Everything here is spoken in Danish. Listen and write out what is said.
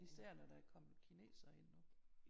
Især når der er kommet kinesere ind nu